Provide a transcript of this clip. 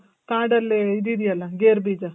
ಕಾಡಲ್ಲಿ ಇದ್ ಇದೆ ಅಲ್ಲ ಗೇರು ಬೀಜ.